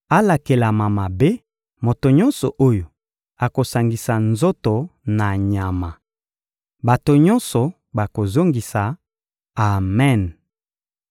«Alakelama mabe, moto nyonso oyo akosangisa nzoto na nyama!» Bato nyonso bakozongisa: «Amen!»